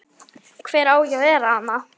Hver á ekki að vera þarna?